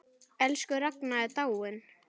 Elsku Ragna er dáin.